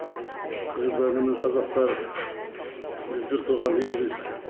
қырғыздар менен қазақтар біз бір туған елміз